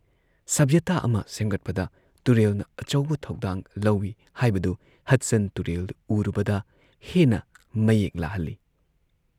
ꯁꯚ꯭ꯌꯇꯥ ꯑꯃ ꯁꯦꯝꯒꯠꯄꯗ ꯇꯨꯔꯦꯜꯅ ꯑꯆꯧꯕ ꯊꯧꯗꯥꯡ ꯂꯧꯏ ꯍꯥꯏꯕꯗꯨ ꯍꯗꯁꯟ ꯇꯨꯔꯦꯜ ꯎꯔꯨꯕꯗ ꯍꯦꯟꯅ ꯃꯌꯦꯛ ꯂꯥꯍꯜꯂꯦ ꯫